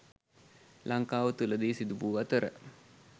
ලංකාව තුළදී සිදුවූ අතර